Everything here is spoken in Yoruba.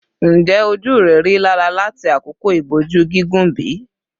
Njẹ oju rẹ rilara lati akoko iboju gigun bi?